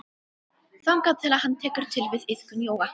Þangað til að hann tekur til við iðkun jóga.